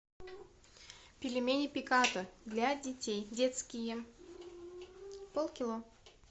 пельмени пиката для детей детские полкило